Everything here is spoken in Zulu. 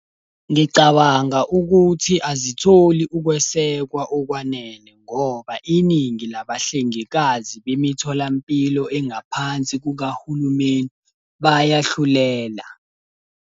Ngicabanga ukuthi azitholi ukwesekwa okwanele, ngoba iningi labahlengikazi bemitholampilo engaphansi kukahulumeni bayahlulela.